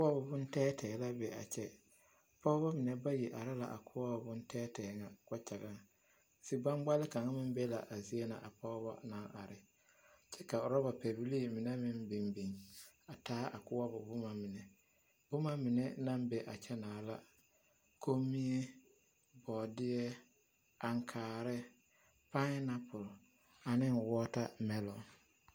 Koɔbo bontɛɛtɛɛ la be a kyɛ pɔɡebɔ mine bayi are la a koɔbo bontɛɛtɛɛ ŋa kpakyaŋaŋ ziɡbaŋɡbale kaŋa meŋ be la a zie na a pɔɡebɔ na are kyɛ ka urɔba pɛbilii mine meŋ a biŋbiŋ a taa koɔbo boma mine boma mine naŋ be a kyɛnaa la komie, bɔɔdeɛ, aŋkaare, paainapuli ane wɔɔtameloo.